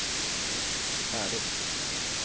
färdigt